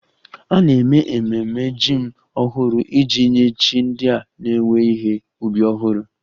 A na-eme ememe jim ọhụrụ iji nye chi ndị a na-ewe ihe ubi ọhụrụ